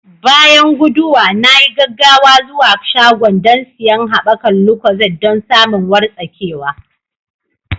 Bayan guduwa, na yi gaggawa zuwa shagon don siyan haɓakar lucozade don samin wartsakewa.